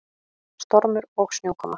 Stormur og snjókoma.